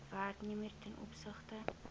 werknemer ten opsigte